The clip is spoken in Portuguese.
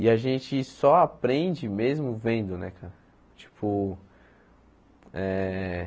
E a gente só aprende mesmo vendo né cara tipo eh.